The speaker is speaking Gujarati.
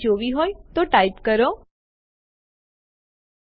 આગળ આપણે આરએમ આદેશ જોઈશું